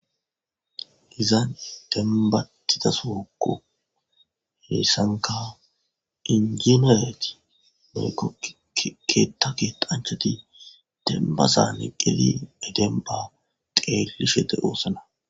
Izan dembatida sooko heessankaw injinoyeti meykoikeetakeqanchati dembasa niqqeli e denba xeelishete oossana.